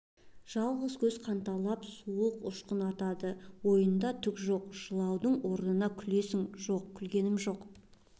жалғыз көз қанталап суық ұшқын атады ойында түк жоқ жылаудың орнына күлесің жоқ күлгем жоқ